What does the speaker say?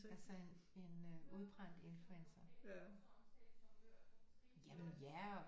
Altså en en udbrændt influencer jamen ja